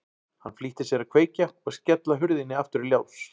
Hann flýtti sér að kveikja og skella hurðinni aftur í lás.